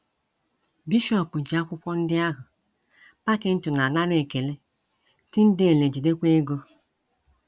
“ Bishọp ji akwụkwọ ndị ahụ, Packington anara ekele, Tyndale ejidekwa ego. ”